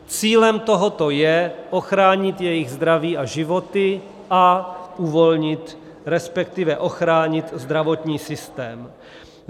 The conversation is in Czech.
Cílem tohoto je ochránit jejich zdraví a životy a uvolnit, respektive ochránit zdravotní systém.